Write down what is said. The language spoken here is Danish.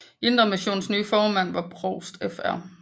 Indre Missions nye formand var provst Fr